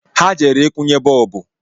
Ha jere ikwunye bọọbụ